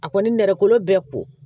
A kɔni nɛgɛkolo bɛɛ ko